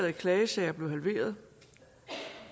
af klagesager blev halveret